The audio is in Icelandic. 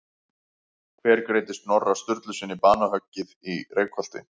Hver greiddi Snorra Sturlusyni banahöggið í Reykholti?